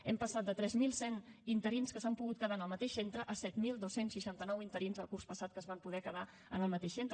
hem passat de tres mil cent interins que s’han pogut quedar en el mateix centre a set mil dos cents i seixanta nou interins el curs passat que es van poder quedar en el mateix centre